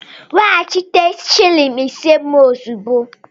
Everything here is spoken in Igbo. Weghachite shịlịn isé m ozugbo!